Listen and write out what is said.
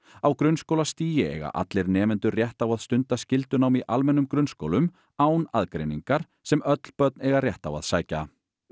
á grunnskólastigi eiga allir nemendur rétt á að stunda skyldunám í almennum grunnskólum án aðgreiningar sem öll börn eiga rétt á að sækja